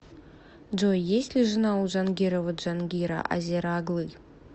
джой есть ли жена у джангирова джангира азера оглы